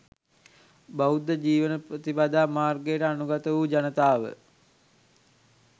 බෞද්ධ ජීවන ප්‍රතිපදා මාර්ගයට අනුගත වූ ජනතාව